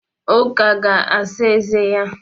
Uke ga-asa eze ya.